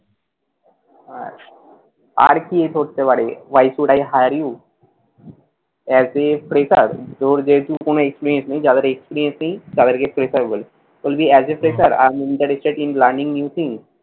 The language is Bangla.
আর কি করতে পারবি? why should i hire you? as a fresher তোর যেহেতু কোনো experience নেই, যাদের experience নেই তাদেরকে fresher বলে। বলবি, as a fresher, i am interested in learining new things